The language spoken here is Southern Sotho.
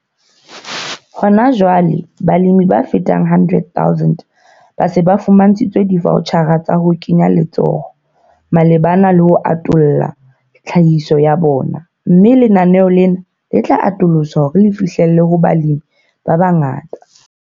Hona jwale, balemi ba fetang 100 000 ba se ba fumantshitswe divoutjhara tsa ho kenya letsoho malebana le ho atolla tlhahiso ya bona, mme lenaneo lena le tla atoloswa hore le fihlelle ho balemi ba bangata.